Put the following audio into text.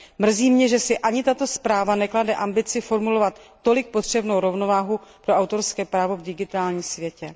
Mrzí mě, že si ani tato zpráva neklade ambici formulovat tolik potřebnou rovnováhu pro autorské právo v digitálním světě.